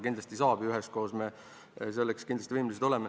Kindlasti saab ja üheskoos oleme me selleks ka võimelised.